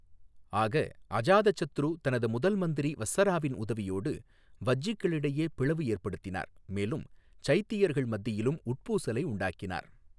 ஆக அஜாதசத்ரு தனது முதல் மந்திரி வஸ்ஸராவின் உதவியோடு வஜ்ஜிக்களிடையே பிளவு ஏற்படுத்தினார் மேலும் சைத்தியர்கள் மத்தியிலும் உட்பூசலை உண்டாக்கினார்